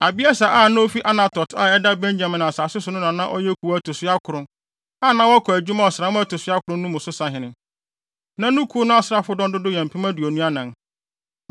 Abieser a na ofi Anatot a ɛda Benyamin asase so no na na ɔyɛ kuw a ɛto so akron, a na wɔkɔ adwuma ɔsram a ɛto so akron mu no so sahene. Na ne kuw no asraafodɔm dodow yɛ mpem aduonu anan (24,000).